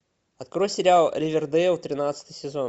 открой сериал ривердейл тринадцатый сезон